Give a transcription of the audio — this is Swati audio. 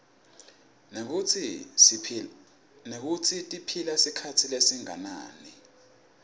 nekutsi tiphila sikhatsi lesinganani